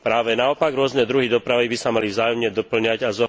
Práve naopak, rôzne druhy dopravy by sa mali vzájomne dopĺňať a